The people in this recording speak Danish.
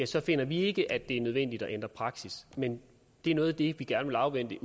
så finder vi ikke at det er nødvendigt at ændre praksis men det er noget af det vi gerne vil afvente